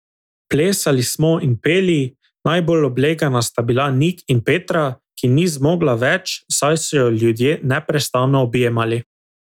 Plesali smo in peli, najbolj oblegana sta bila Nik in Petra, ki ni zmogla več, saj so jo ljudje neprestano objemali.